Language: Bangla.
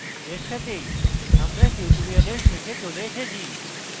এর সাথেই আমরা tutorial শেষে চলে এসেছি